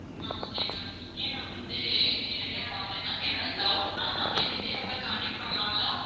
ஆஹ் okay ma'am okay நா வந்து நேரடியா வாறேன் ma'am ஏதாவது doubt னா நா உங்கள்ளுக்கு இதே number ல contact பன்னலாம்லா